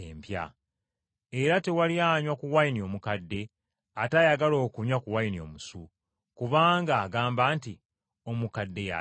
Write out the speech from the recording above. Era tewali anywa ku wayini omukadde ate ayagala okunywa ku wayini omusu. Kubanga agamba nti, ‘Omukadde ye asinga omusu.’ ”